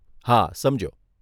હા, સમજ્યો.